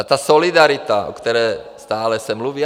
A ta solidarita, o které se stále mluví.